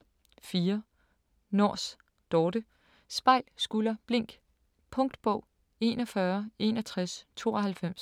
4. Nors, Dorthe: Spejl, skulder, blink Punktbog 416192